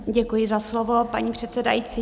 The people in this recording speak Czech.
Děkuji za slovo, paní předsedající.